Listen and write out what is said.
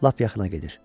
Lap yaxına gedir.